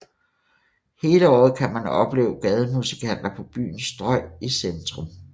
Hele året kan man opleve gademusikanter på byens strøg i centrum